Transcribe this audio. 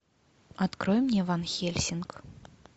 открой мне ван хельсинг